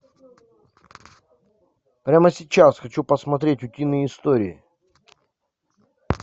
прямо сейчас хочу посмотреть утиные истории